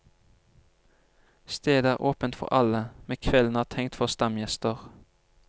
Stedet er åpent for alle, men kvelden er tenkt for stamgjester.